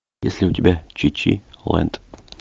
есть ли у тебя чичи лэнд